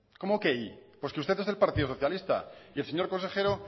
cómo que y porque usted es del partido socialista y el señor consejero